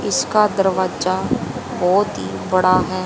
इसका दरवाजा बहोत ही बड़ा है।